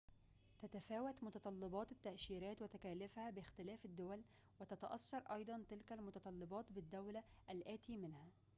تتفاوت متطلبات التأشيرات وتكاليفها باختلاف الدول وتتأثر أيضاً تلك المتطلبات بالدولة الآتي منها